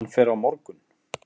Hann fer á morgun.